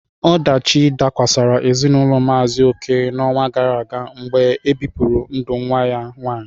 Ọdachi dakwasara ezinaụlọ Maazi Oke n'ọnwa gara aga mgbe ebipụrụ ndụ nwa ya nwanyị.